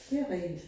Det rigtigt